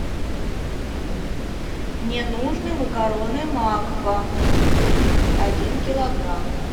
мне нужны макароны макфа один килограмм